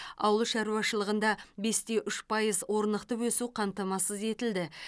ауыл шаруашылығында бес те үш пайыз орнықты өсу қамтамасыз етілді